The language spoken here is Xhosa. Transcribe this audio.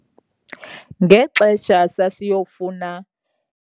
Ngexesha sasiyofuna.